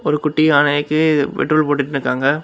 ஒரு குட்டியணைக்கு பெட்ரோல் போட்டுட்டு நிக்காங்க.